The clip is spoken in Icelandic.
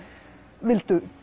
vildu